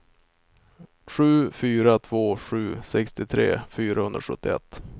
sju fyra två sju sextiotre fyrahundrasjuttioett